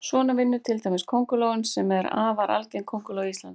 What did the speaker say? Svona vinnur til dæmis krosskóngulóin sem er afar algeng kónguló á Íslandi.